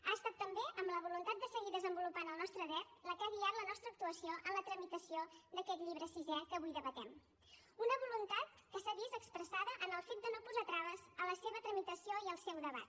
ha estat també amb la voluntat de seguir desenvolupant el nostre dret la que ha guiat la nostra actuació en la tramitació d’aquest llibre sisè que avui debatem una voluntat que s’ha vist expressada en el fet de no posar traves a la seva tramitació i al seu debat